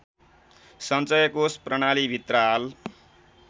सञ्चयकोष प्रणालिभित्र हाल